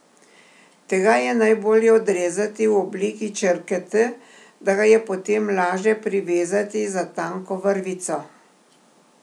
Tega je najbolje odrezati v obliki črke T, da ga je potem laže privezati za tanko vrvico.